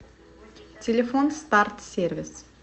телефон старт сервис